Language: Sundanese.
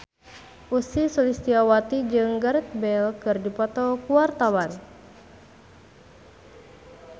Ussy Sulistyawati jeung Gareth Bale keur dipoto ku wartawan